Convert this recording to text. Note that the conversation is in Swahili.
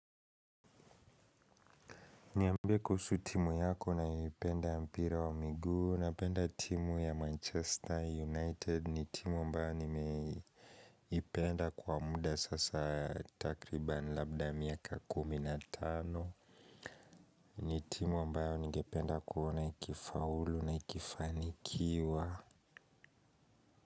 Niambie kuhusu timu yako unayoipenda mpira wa miguu napenda timu ya Manchester United ni timu ambayo nimeipenda kwa muda sasa takriban labda miaka kumi na tano ni timu ambayo ningependa kuona ikifaulu na ikifanikiwa.